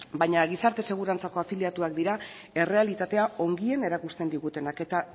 baina gizarte segurantzako afiliatuak dira errealitatea ongien erakusten digutenak eta